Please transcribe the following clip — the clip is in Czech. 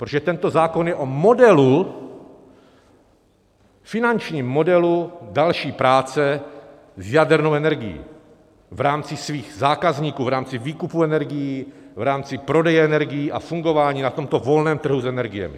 Protože tento zákon je o modelu, finančním modelu další práce s jadernou energií v rámci svých zákazníků, v rámci výkupu energií, v rámci prodeje energií a fungování na tomto volném trhu s energiemi.